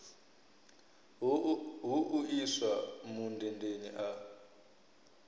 hu u iswa mundendeni a